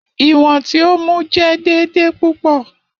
Iwọn ti o mu jẹ deede pupọ.